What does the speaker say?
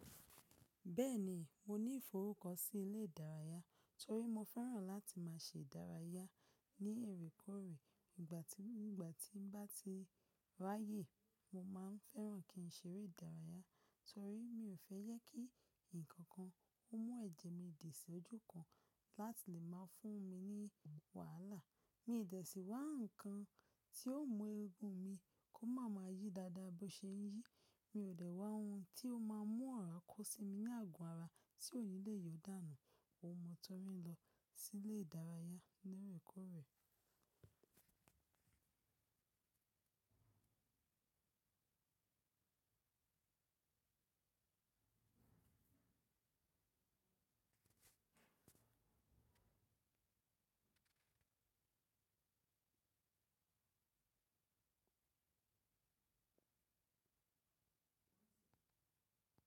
Bẹ́ẹ̀ ni, mo ní ìforúkọ sí ilé ìdárayá torí mo fẹ́ràn láti máa ṣe ìdárayá ní oorèekòorè. Nígbà tí, nígbà tí n bá ti ráyè, mo máa ń fẹ́ràn kí n ṣeré ìdárayá torí mi ò fẹ́ yẹ kí ǹkan kan ó mú ẹ̀jẹ̀ mi dì sí ojú kan láti lè máa fún mi ní wàhálà. Mi dẹ̀ sí wá ǹkan tí yóò mú eégún mi kó máa ma yí dáadáa bó ṣe ń yí. Mi ò dẹ̀ wá oun tí ó máa mú ọ̀rá kó sí mi ní àgo ara tí ò ní le yọ̀ọ́ dànù. Ó ni mọ torí ń lọ sí ilé ìdárayá ní èrèkòrè.